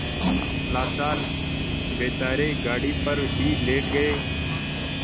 लाचार बेचारे गाड़ी पर ही लेट गये